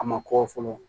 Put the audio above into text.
A ma kɔ fɔlɔ